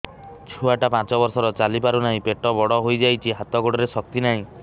ଛୁଆଟା ପାଞ୍ଚ ବର୍ଷର ଚାଲି ପାରୁ ନାହି ପେଟ ବଡ଼ ହୋଇ ଯାଇଛି ହାତ ଗୋଡ଼ରେ ଶକ୍ତି ନାହିଁ